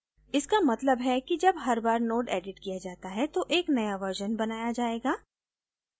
इसका मतलब है कि जब हर बार node एडिट किया जाता है तो एक नया version बनाया जायेगा